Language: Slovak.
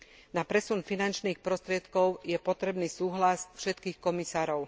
Na presun finančných prostriedkov je potrebný súhlas všetkých komisárov.